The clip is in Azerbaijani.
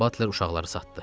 Butler uşaqları satdı.